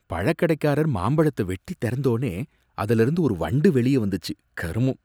பழக்கடைக்காரர் மாம்பழத்தை வெட்டித் திறந்தோனே அதுல இருந்து ஒரு வண்டு வெளிய வந்துச்சு, கருமம்!